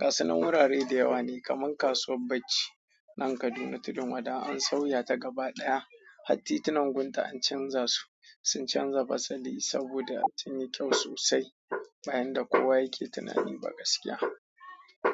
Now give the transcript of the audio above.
Gasunan wurare da yawa ne kamar kasuwar bacci nan Kaduna Tudun Wada an sauya ta gaba ɗaya. Hat titunan gunta an canza su, sun canza fasali saboda sun yi kyau sosai bayan da kowa yake tunanin ba gaskiya.